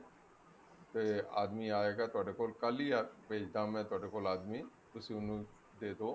ਤੇ ਆਦਮੀ ਆਏਗਾ ਤੁਹਾਡੇ ਕੋਲ ਕੱਲ ਹੀ ਭੇਜਦਾ ਮੈਂ ਤੁਹਾਡੇ ਕੋਲ ਆਦਮੀ ਤੁਸੀਂ ਉਹਨੂੰ ਦੇ ਦੋ